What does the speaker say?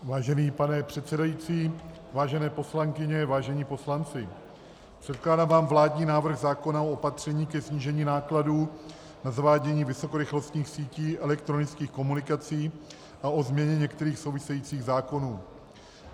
Vážený pane předsedající, vážené poslankyně, vážení poslanci, předkládám vám vládní návrh zákona o opatřeních ke snížení nákladů na zavádění vysokorychlostních sítí elektronických komunikací a o změně některých souvisejících zákonů.